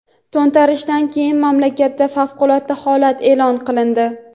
To‘ntarishdan keyin mamlakatda favqulodda holat e’lon qilindi.